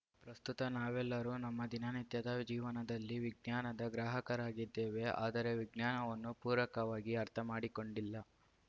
ಪ್ರಸ್ತುತ ನಾವೆಲ್ಲರೂ ನಮ್ಮ ದಿನನಿತ್ಯದ ಜೀವನದಲ್ಲಿ ವಿಜ್ಞಾನದ ಗ್ರಾಹಕರಾಗಿದ್ಧೇವೆ ಆದರೆ ವಿಜ್ಞಾನವನ್ನು ಪೂರಕವಾಗಿ ಅರ್ಥಮಾಡಿಕೊಂಡಿಲ್ಲ